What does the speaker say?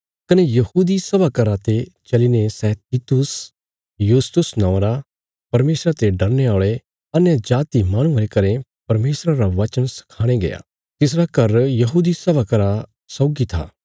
कने यहूदी सभा घरा ते चलीने सै तीतुस युसतुस नौआं रा परमेशरा ते डरने औल़े अन्यजाति माहणुये रे घरें परमेशरा रा वचन सखाणे गया तिसरा घर यहूदी सभा घरा सौगी था